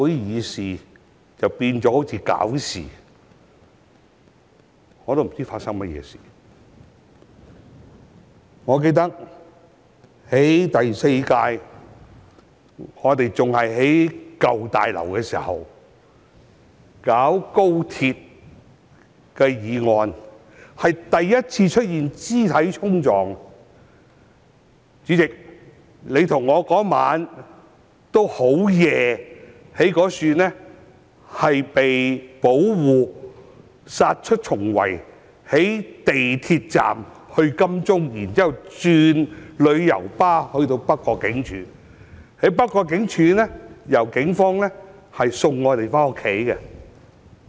主席，那天夜深時，你和我在警方保護下，從舊大樓那裏殺出重圍到地鐵站乘列車前往金鐘，然後轉乘旅遊巴到達北角警署。在北角警署，由警方護送我們回家。